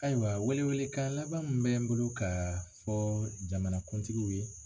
Ayiwa welewele kan laban min bɛ n bolo ka fɔ jamanakuntigiw ye